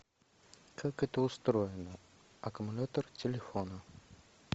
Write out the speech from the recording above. как это устроено аккумулятор телефона